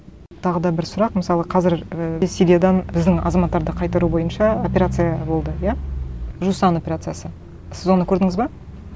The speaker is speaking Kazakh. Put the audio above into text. тағы да бір сұрақ мысалы қазір і сириядан біздің азматтарды қайтару бойынша операция болды иә жусан операциясы сіз оны көрдіңіз бе